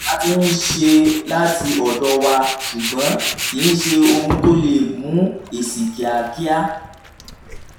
a ti ń ṣe láti ọ̀dọ̀ wa ṣùgbọ́n kìí ṣe ohun tó lè mú èsì kíákíá.